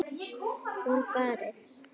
Hún farið.